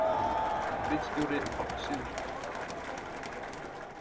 Ritstjóri Páll Sigurðsson.